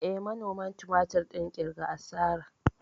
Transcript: Eh, manoman tumatir ɗin ƙirga asara.